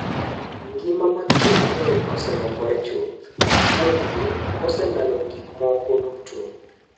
"""Ngima mag ji mang'eny oselokore chuth, buothgi oselalo gikmoko duto."""